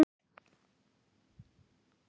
Sem sagt, enginn guð.